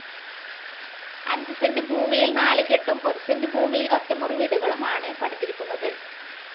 അഞ്ച് സെന്റ് ഭൂമിയിൽ നാലുകെട്ടും ഒരു സെന്റ് ഭൂമിയിൽ ഒറ്റമുറിവീടുകളുമാണു് പണിതിരിക്കുന്നത്.